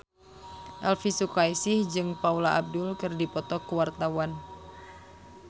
Elvy Sukaesih jeung Paula Abdul keur dipoto ku wartawan